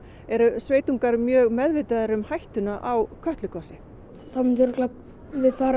eru sveitungar mjög meðvitaðir um hættuna á Kötlugosi þá myndum við far